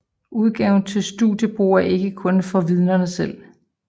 Udgaven til studiebrug er ikke kun for Vidnerne selv